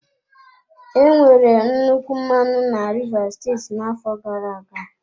Enwere nnukwu mmanụ na rivers steeti n'afọ gara-aga.